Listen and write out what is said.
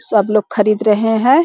सब लोग खरीद रहे है।